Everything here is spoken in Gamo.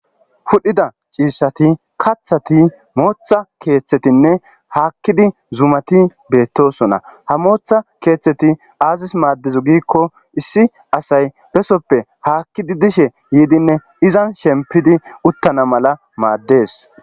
Pudhida ciishshati kathati mooththa keeththetine hakidi zumati beetosona. Ha motha kethati azisi madiddo gikko issi assayi besoppe hakidi bishe yidine izani shempidi utana mala madesi